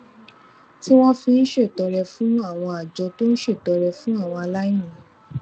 tí wón fi ń ṣètọrẹ fún àwọn àjọ tó ń ṣètọrẹ fún àwọn aláìní